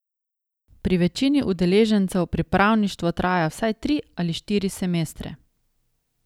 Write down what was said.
Pri večini učencev pripravništvo traja vsaj tri ali štiri semestre.